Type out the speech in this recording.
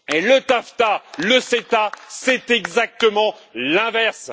Le TAFTA et le CETA, c'est exactement l'inverse.